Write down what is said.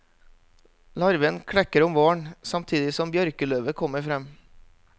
Larven klekker om våren, samtidig som bjørkeløvet kommer frem.